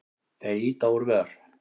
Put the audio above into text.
Þeir ýta úr vör.